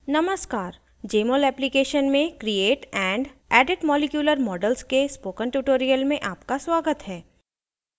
नमस्कार